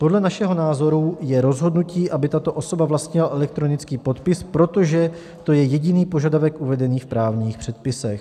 Podle našeho názoru je rozhodnutí, aby tato osoba vlastnila elektronický podpis, protože to je jediný požadavek uvedený v právních předpisech.